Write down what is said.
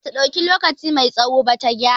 Bata dauki lokaci mai tsawo ba ta gyara